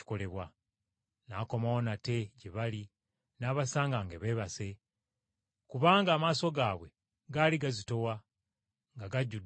N’akomawo nate gye bali n’abasanga nga beebase, kubanga amaaso gaabwe gaali gazitowa nga gajjudde otulo.